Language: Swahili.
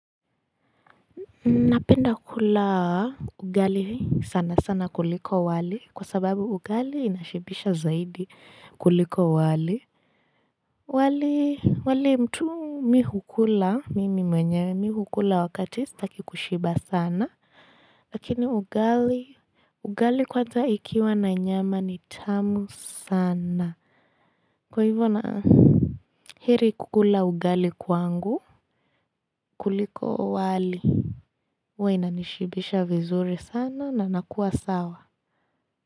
Napenda kula ugali sana sana kuliko wali kwa sababu ugali inashibisha zaidi kuliko wali wali mtu mi hukula mimi mwenyewe mi hukula wakati staki kushiba sana lakini ugali kwanza ikiwa na nyama ni tamu sana Kwa hivyo na heri kukula ugali kwangu kuliko wali huwa inanishibisha vizuri sana na nakuwa sawa.